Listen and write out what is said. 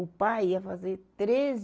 O pai ia fazer treze